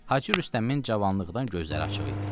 Hacı Rüstəmin cavanlıqdan gözləri açıq idi.